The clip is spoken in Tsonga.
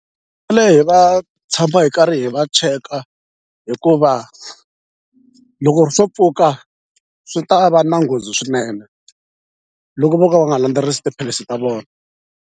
va tshama hi karhi hi va cheka hikuva loko swo pfuka swi ta va na nghozi swinene loko vo ka va nga landzelerisi tiphilisi ta vona.